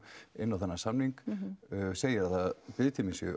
inn á þennan samning segja að biðtíminn sé